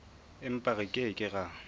empa re ke ke ra